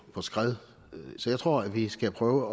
skred så jeg tror vi skal prøve